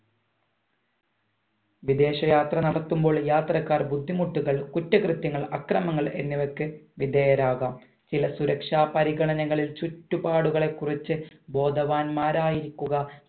വിദേശ യാത്ര നടത്തുമ്പോൾ യാത്രക്കാർ ബുദ്ധിമുട്ടുകൾ കുറ്റ കൃത്യങ്ങൾ അക്രമങ്ങൾ എന്നിവക്ക് വിദേയരാകാം ചില സുരക്ഷാ പരിഗണകളിൽ ചുറ്റുപാടുകളെ കുറിച്ച് ബോധവാന്മാരായിരിക്കുക